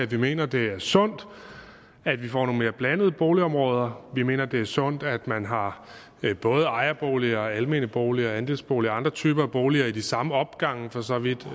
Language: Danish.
vi mener det er sundt at vi får nogle mere blandede boligområder vi mener det er sundt at man har både ejerboliger almene boliger andelsboliger og andre typer boliger i de samme opgange og for så vidt